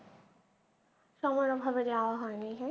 সময়ের অভাবে যাওয়া হয়নি হ্যাঁ